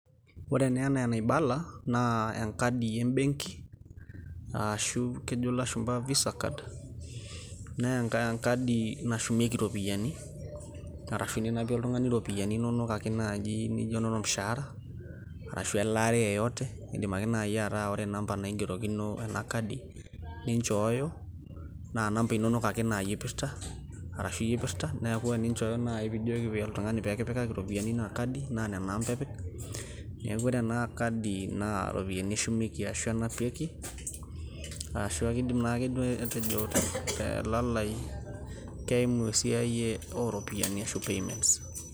ore enaa enaibala naa enkadi ebenki, aashu kejo ilashumpa visa card naa enkai nashumieki iropiyiani .arashu ninapie oltung'ani iropiyiani inonok ake naaji naijo inolmushaara, aashu elaare yeyote idim ake naaji ataa ore inamba naigerokino ena kadi ninchooyo. naa inamba inonok ake naaji eipirta, arashu iyie eipirta, neeku teninchooyo naaji naa ore iropiyiani eina kadi naa nena amba epik. neeku ore ena kadi naa iropiyiani eshumieki ashu enapikei. ashu kidim naaduoa ake aatejo telalai keimu oshi esiai oo ropiyiani oshi payments.